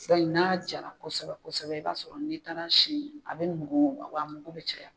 I n'a jala kosɛbɛ kosɛbɛ i b'a sɔrɔ n'i taara a sin a bɛ nugu wa a mugu bɛ caya.